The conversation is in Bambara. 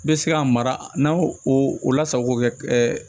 N bɛ se ka mara n'a y'o lasago kɛ